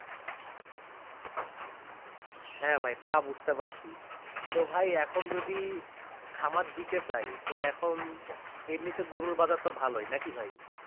হ্যাঁ ভাই তা বুঝতে পারছি তো ভাই এখন যদি খামার দিতে চাই তো এখন এমনিতে গরুর বাজার তো ভালোই না কি ভাই?